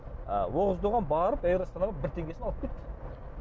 ы оғыз доған барып эйр астанаға бір теңгесін алып кетті